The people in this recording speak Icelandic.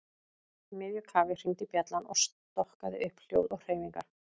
Í miðju kafi hringdi bjallan og stokkaði upp hljóð og hreyfingar.